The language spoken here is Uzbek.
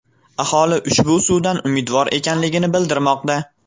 Aholi ushbu suvdan umidvor ekanligini bildirmoqda.